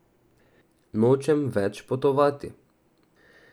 Nočem več potovati.